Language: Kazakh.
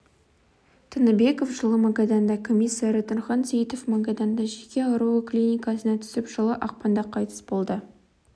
тыныбеков жылы магаданда комиссары нұрхан сейітов магаданда жүйке ауруы клиникасына түсіп жылы ақпанда қайтыс болды